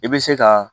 I bɛ se ka